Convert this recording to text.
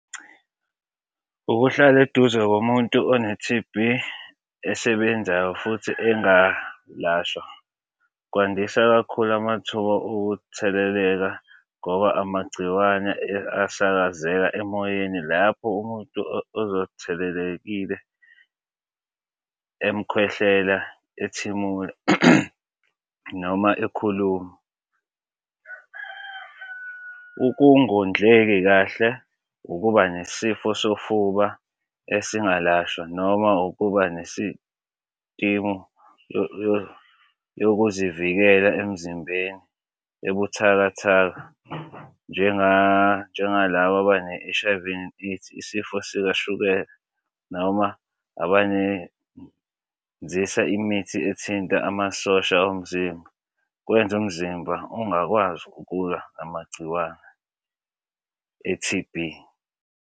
Ukuhlala eduze komuntu one-T_B esebenzayo futhi engalashwa kwandisa kakhulu amathuba okutheleleka ngoba amagciwane asakazeka emoyeni lapho umuntu emkhwehlela ethimula noma ekhuluma. Ukungondleki kahle, ukuba nesifo sofuba esingalashwa noma ukuba yokuzivikela emzimbeni ebuthakathaka, njenga njengalaba abane-H_I_V AIDS, isifo sikashukela noma abane imithi ethinta amasosha omzimba kwenze umzimba ungakwazi ukulwa namagciwane e-T_B.